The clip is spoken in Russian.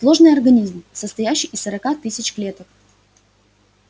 сложный организм состоящий из сорока тысяч клеток